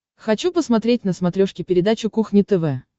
хочу посмотреть на смотрешке передачу кухня тв